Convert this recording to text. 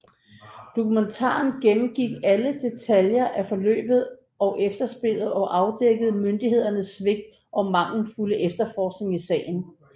Dokumentaren gennemgik alle detaljer af forløbet og efterspillet og afdækkede myndighedernes svigt og mangelfulde efterforskning i sagen